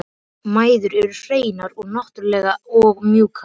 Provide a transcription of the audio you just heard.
Mæður eru hreinar og náttúrlegar og mjúkar.